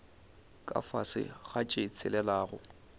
ka fase ga tše tshelelago